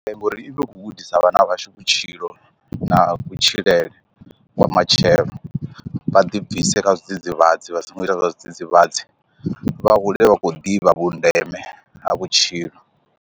Ee ngori i vha khou gudisa vhana vhashu vhutshilo na kutshilele kwa matshelo vha ḓi bvise kha zwi dzidzivhadzi vha songo ita zwa zwidzidzivhadzi vha hule vha khou ḓivha vhundeme ha vhutshilo.